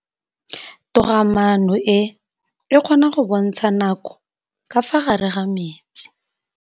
Toga-maanô e, e kgona go bontsha nakô ka fa gare ga metsi.